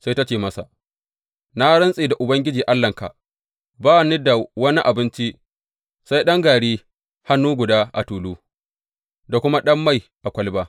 Sai ta ce masa, Na rantse da Ubangiji Allahnka, ba ni da wani abinci, sai dai ɗan gari hannu guda a tulu, da kuma ɗan mai a kwalaba.